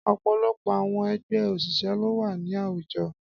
Ọ̀pọ̀lọpọ̀ àwọn ẹgbẹ́ òṣìṣẹ́ ló wà ní àwùjọ.